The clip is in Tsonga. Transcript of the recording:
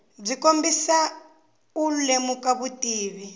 byi kombisa u lemuka vutivi